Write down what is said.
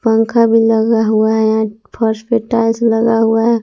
पंखा भी लगा हुआ है यहां फर्श पे टाइल्स लगा हुआ है।